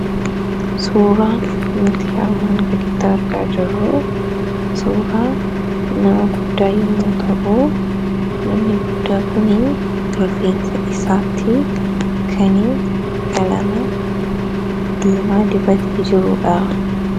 Suuraa nuti armaan gaditti argaa jirru suuraa nama guddaa yemmuu ta'u namni guddaa kun rifeensa isaatti kan qalama diimaa dibatee jirudha.